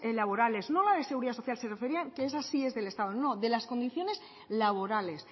laborales no a la de seguridad social que esa sí es del estado de las condiciones laborales